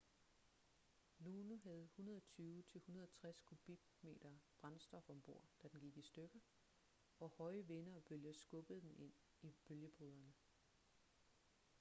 luno havde 120-160 kubikmeter brændstof om bord da den gik i stykker og høje vinde og bølger skubbede den ind i bølgebryderne